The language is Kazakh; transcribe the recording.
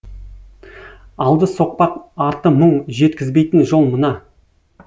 алды соқпақ арты мұң жеткізбейтін жол мына